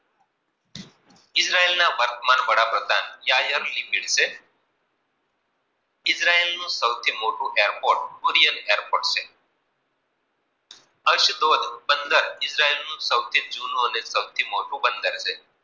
Israel નું સૌથી મોટું airpot કુરિયન airpot છે. અશિતોષ બંદર સૌથી જુનું અને સૌથી મોટુ બંદર છે.